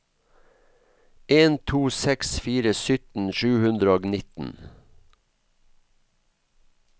en to seks fire sytten sju hundre og nitten